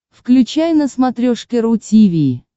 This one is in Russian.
включай на смотрешке ру ти ви